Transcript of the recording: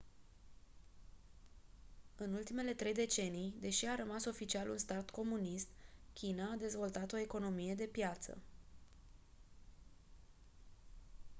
în ultimele trei decenii deși a rămas oficial un stat comunist china a dezvoltat o economie de piață